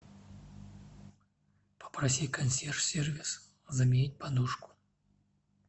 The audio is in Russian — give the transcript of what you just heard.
попроси консьерж сервис заменить подушку